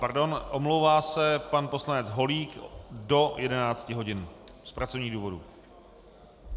Pardon, omlouvá se pan poslanec Holík do 11 hodin z pracovních důvodů.